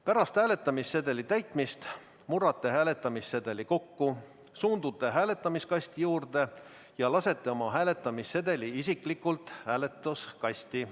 Pärast hääletamissedeli täitmist murrate hääletamissedeli kokku, suundute hääletamiskasti juurde ja lasete oma hääletamissedeli isiklikult hääletuskasti.